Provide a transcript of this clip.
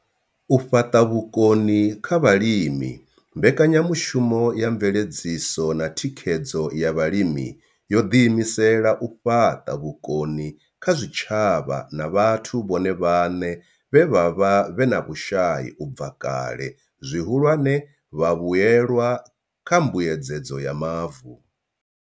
U fhaṱa vhukoni kha vhalimi mbekanyamushumo ya mveledziso na thikhedzo ya vhalimi yo ḓi imisela u fhaṱa vhukoni kha zwitshavha na vhathu vhone vhaṋe vhe vha vha vhe na vhushai u bva kale, zwihulwane, vhavhuelwa kha mbuedzedzo ya mavu.